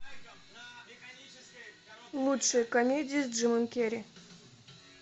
лучшие комедии с джимом керри